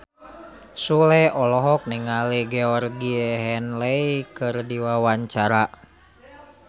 Sule olohok ningali Georgie Henley keur diwawancara